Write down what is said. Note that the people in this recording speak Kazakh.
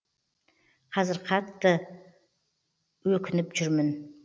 қазір қатты өкініп жүрмін